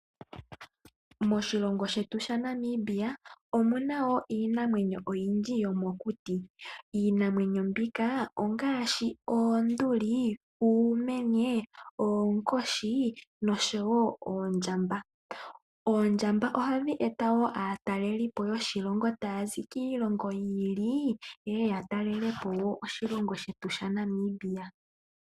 Moshilongo shetu shaNamibia omuna woo iinamwenyo oyindji yomokuti. Iinamwenyo mbika ongaashi oonduli, uumenye, nosho woo oondjamba. Oondjamba oha dhi eta woo aatelipo yoshilongo tayazi kiilongo yi ili ye ye ya talelepo oshilongo shetu Namibia.